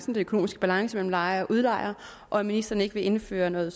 den økonomiske balance mellem lejer og udlejer og at ministeren ikke vil indføre noget